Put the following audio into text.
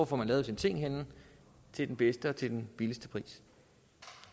får lavet sine ting henne i den bedste kvalitet og til den laveste pris det